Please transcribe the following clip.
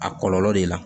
A kɔlɔlɔ de la